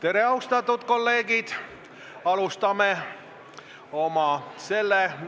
Tere, austatud kolleegid!